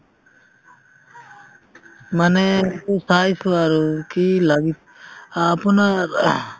মানে এইটো চাইছিলো আৰু কি লাগি আপোনাৰ ing